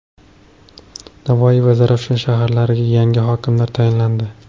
Navoiy va Zarafshon shaharlariga yangi hokimlar tayinlandi.